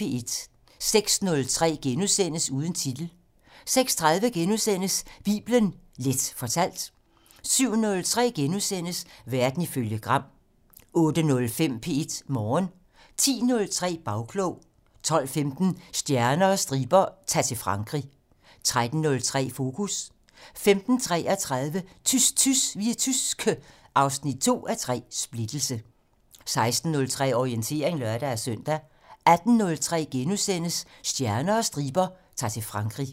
06:03: Uden titel * 06:30: Bibelen Leth fortalt * 07:03: Verden ifølge Gram * 08:05: P1 Morgen 10:03: Bagklog 12:15: Stjerner og striber - Ta'r til Frankrig 13:03: Fokus 15:33: Tys tys, vi er tyske 2:3 Splittelse 16:03: Orientering (lør-søn) 18:03: Stjerner og striber - Ta'r til Frankrig *